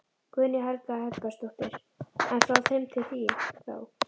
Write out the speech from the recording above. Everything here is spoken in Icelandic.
Guðný Helga Herbertsdóttir: En frá þeim til þín, þá?